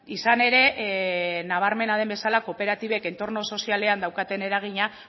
izan ere nabarmena den bezala kooperatibek entorno sozialean daukaten eragina